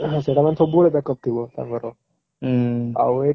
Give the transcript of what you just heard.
ସେଟା ମାନେ ସବୁବେଳେ backup ଥିବ ତାଙ୍କର ଆଉ ଏଇଟା ତାଙ୍କେ